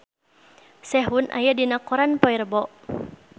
Sehun aya dina koran poe Rebo